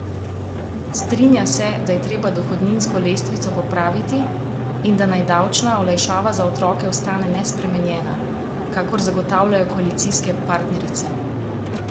Strinja se, da je treba dohodninsko lestvico popraviti in da naj davčna olajšava za otroke ostane nespremenjena, kakor zagotavljajo koalicijske partnerice.